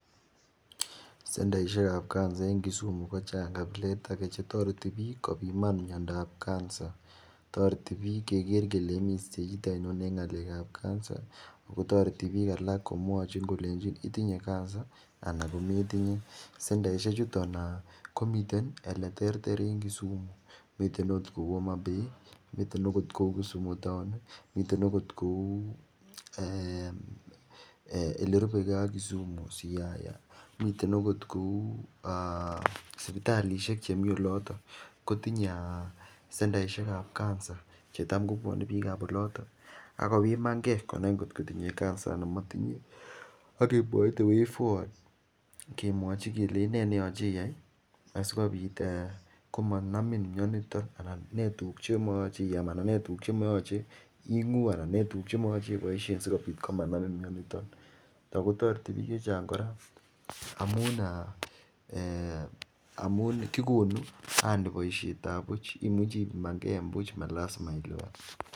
Sendeisiekab kansa en Kisumu kochang kabiletage . Chetoreti bik kobiman miandob kansa. Toreti bik kenai kele imi stechit ainon en miandob kansa kotoreti bik alak Konami kole itinye miando ainon en kansa anan komotinye . Sndaisiek chuton komiten eleterter en Kisumu miten oot kouu omabay, miten oot kouu Kisumu town, miten oot kouu elerubekee ak Kisumu kou siyaya miten akot kouu sibitalishek chemi oloton kotinye sendeisiekab kansa chetamko bendi bikab oloto akobimanke kot kotinye kanza anan motinye akemwachi the way forward akemwachi kelenchi nee neyoche iyai sikobit komanamin mianito nee tuguk chemoyoche iam anan nee tuguk chemoyoche iboisien sikobit komanamin mianito Ako toreti bik checheng kora amuun eh kikonuu boisietab buch imuche ibiman ke buch malisima iluban